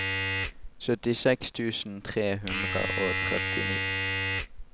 syttiseks tusen tre hundre og trettini